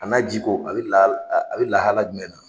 A na ji ko, a bɛ lah lahalaya jumɛn na.